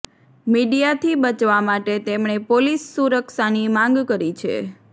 મીડિયાથી બચવા માટે તેમણે પોલીસ સુરક્ષાની માંગ કરી છે